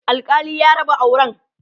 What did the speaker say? alkali ya raba auran